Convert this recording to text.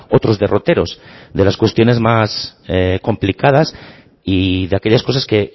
otros derroteros de las cuestiones más complicadas y de aquellas cosas que